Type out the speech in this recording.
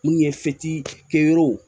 Mun ye kɛ yɔrɔw